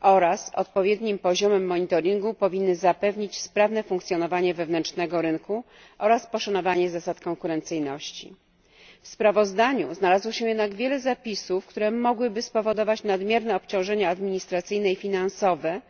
oraz odpowiednim poziomem monitoringu powinien zapewnić sprawne funkcjonowanie rynku wewnętrznego oraz poszanowanie zasad konkurencyjności. W sprawozdaniu znalazło się jednak wiele zapisów, które mogłyby spowodować nadmierne obciążenia administracyjne i finansowe,